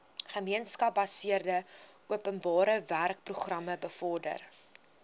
gemeenskapsgebaseerde openbarewerkeprogram bevorder